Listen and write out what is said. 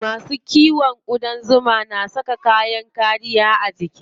Masu kiwon ƙudan zuma na saka kayan kariyar jiki.